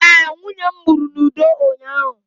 ee, nwunye m mụrụ n'udo ụnyahụ